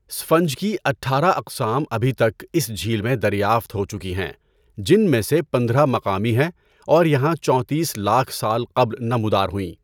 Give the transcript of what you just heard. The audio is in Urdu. اسفنج کی اٹھارہ اقسام ابھی تک اس جھیل میں دریافت ہو چکی ہیں جن میں سے پندرہ مقامی ہیں اور یہاں چوتیس لاکھ سال قبل نمودار ہوئیں۔